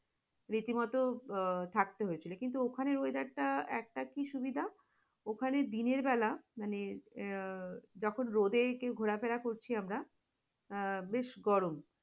রীতিমতো থাকতে হয়েছিল কিন্তু ওখানে weather টা একটা কি সুবিধা? ওখানে দিনের বেলা মানে আহ যখন রোদে ঘোরাফেরা করছি আমরা আহ বেশ গরম